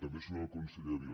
també hi surt el conseller vila